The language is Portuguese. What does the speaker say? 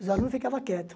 Os alunos ficavam quietos.